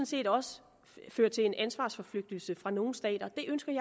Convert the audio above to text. set også føre til en ansvarsforflygtigelse fra nogle stater